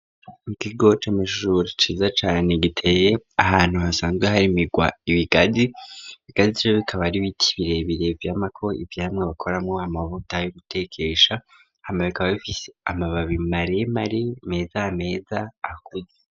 Ikigo C'amashuri ciza cane giteye ahantu hasanzwe hari migwa ibigazi, bigazi bikaba aribiti bire bire vyamako ivyamwa bakoramwo amavuta yo gutekesha, hama bikaba b'ifise amababi mare mare meza meza akuze